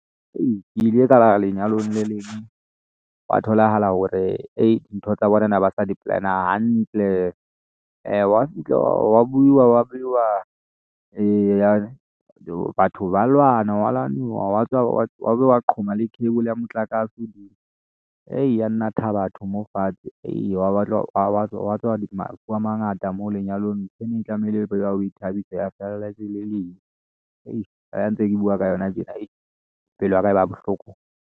Ei ke ile ka ya lenyalong le leng hwa tholahala hore dintho tsa bona ba ne ba sa di plan-a hantle, hwa fihla wa buiwa wa beiwa batho ba lwana, hwa lwanuwa, wa tswa hwa be ha qhoma le cable ya motlakase ey, ya natha batho moo fatshe, hwa tswa mafu a mangata moo lenyalong ntho e ne tlamehile e be ya ho ithabisa ya fella e se le lefu hei ha ntse ke buwa ka yona tjena ayee pelo ya ka e ba bohloko.